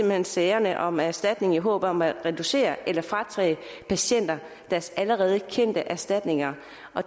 hen sagerne om erstatning i håb om at reducere eller fratage patienter deres allerede tilkendte erstatninger